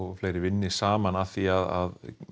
vinni saman að því að